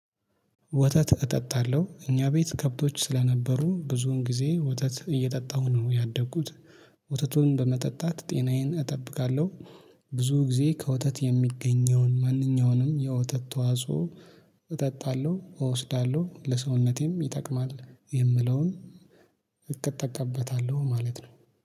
ወተት እጠጣለሁ እኛ ቤት ከብቶች ስለነበሩ ብዙውን ጊዜ ወተት እየጠጣሁ ነው ያደኩት። ወተቱን በመጠጣት ጤናዬን እጠብቃለሁ። ብዙ ጊዜ ከወተት የሚገኘውን ማንኛውንም የወተት ተዋጽኦ። እጠጣለሁ እወስዳለሁ ለሰውነቴም ይጠቅማል የምለውን። እጠቀምበታለሁ ማለት ነው